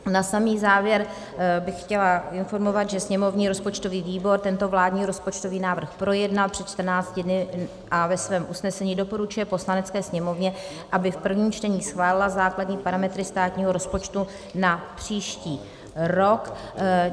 Na samý závěr bych chtěla informovat, že sněmovní rozpočtový výbor tento vládní rozpočtový návrh projednal před 14 dny a ve svém usnesení doporučuje Poslanecké sněmovně, aby v prvním čtení schválila základní parametry státního rozpočtu na příští rok.